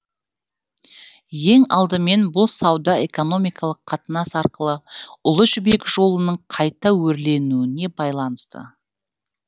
ең алдымен бұл сауда экономикалық қатынас арқылы ұлы жібек жолының қайта өрленуіне байланысты